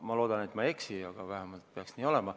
Ma loodan, et ma ei eksi, aga vähemalt peaks nii olema.